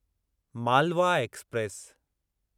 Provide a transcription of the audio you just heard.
Malwa express